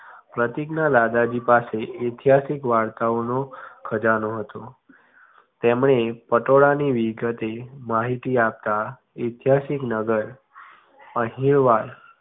પ્રતિક ના દાદાજી પાસે ઇતિહાસિક વાર્તાઓનો ખજાનો હતો તેમને પટોળા ની વિગતે માહિતી આપતા ઇત્યસિક નગર ફરીનબાદ